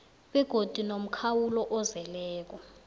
begodu nomkhawulo ozeleko